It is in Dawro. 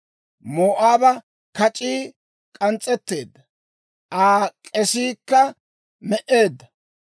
Moo'aaba kac'ii k'ans's'etteedda; Aa k'esiikka me"eedda.